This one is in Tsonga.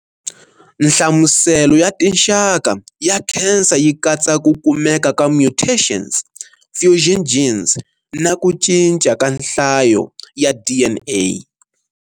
Nhlamuselo ya tinxaka ya khensa yi katsa ku kumeka ka mutations, fusion genes, na ku cinca ka nhlayo ya DNA.